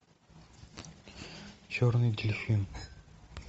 черный дельфин